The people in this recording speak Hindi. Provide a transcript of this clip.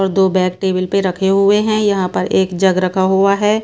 और दो बैग टेबल पे रखे हुए हैं यहां पर एक जग रखा हुआ है।